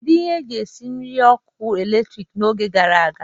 Kedu ihe eji esi nri ọkụ eletrik n'oge gara aga?